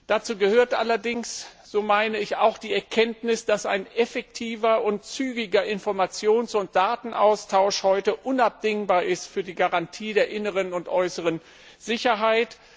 Dazu gehört allerdings auch die Erkenntnis, dass ein effektiver und zügiger Informations und Datenaustausch heute unabdingbar ist für die Garantie der inneren und äußeren Sicherheit.